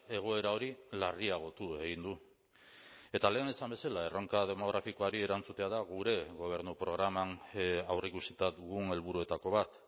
egoera hori larriagotu egin du eta lehen esan bezala erronka demografikoari erantzutea da gure gobernu programan aurreikusita dugun helburuetako bat